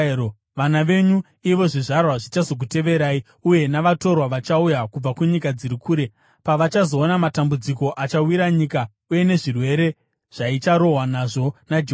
Vana venyu, ivo zvizvarwa zvichazokuteverai uye navatorwa vachauya kubva kunyika dziri kure pavachazoona matambudziko achawira nyika uye nezvirwere zvaicharohwa nazvo naJehovha.